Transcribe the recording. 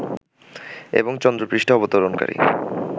এবং চন্দ্র পৃষ্টে অবতরণকারী